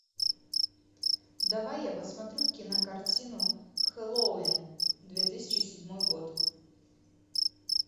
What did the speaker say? давай я посмотрю кинокартину хэллоуин две тысячи седьмой год